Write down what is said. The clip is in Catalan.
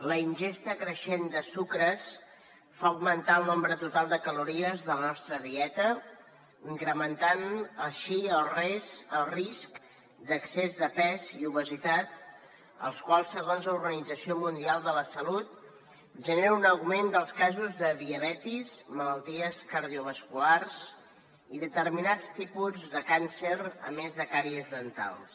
la ingesta creixent de sucres fa augmentar el nombre total de calories de la nostra dieta incrementant així el risc d’excés de pes i obesitat els quals segons la organització mundial de la salut generen un augment dels casos de diabetis malalties cardiovasculars i determinats tipus de càncer a més de càries dentals